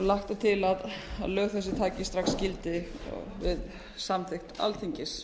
lagt er til að lög þessi taki strax gildi við samþykkt alþingis